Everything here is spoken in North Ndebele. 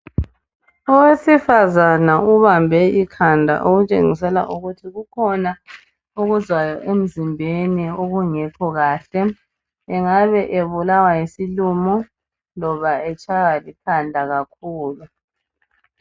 Owesifazana ubambe ikhanda okutshengisela ukuthi kukhona okuzwayo emzimbeni okungekho kahle. Engabe ebulawa yisilumo, loba etshaywa likhanda kakhulu.